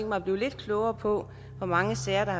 mig at blive lidt klogere på hvor mange sager der har